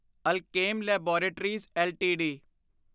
Alkem laboratories LTD